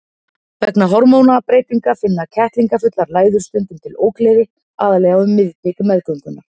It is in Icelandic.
Vegna hormónabreytinga finna kettlingafullar læður stundum til ógleði, aðallega um miðbik meðgöngunnar.